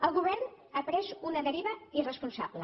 el govern ha pres una deriva irresponsable